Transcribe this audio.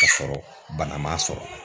Ka sɔrɔ bana ma sɔrɔ.